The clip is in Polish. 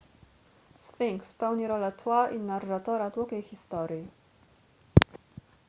sfinks pełni rolę tła i narratora długiej historii